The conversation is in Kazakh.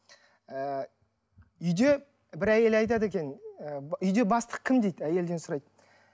ы үйде бір әйел айтады екен үйде бастық кім дейді әйелден сұрайды